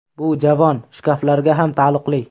Bu javon, shkaflarga ham taalluqli.